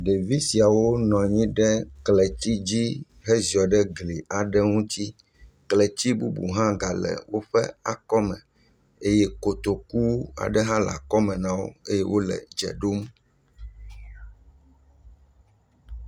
Ɖevi siawo nɔ nyi ɖe kletsi dzi heziɔ ɖe gli aɖe ŋutsi. Kletsi bubu hã gale woƒe akɔme eye kotoku aɖe hã le akɔme na wo eye wole dze ɖom.